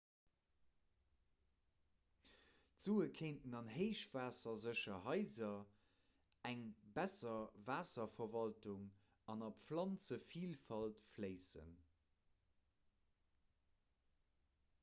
d'sue kéinten an héichwaassersécher haiser eng besser waasserverwaltung an a planzevilfalt fléissen